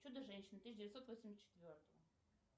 чудо женщина тысяча девятьсот восемьдесят четвертый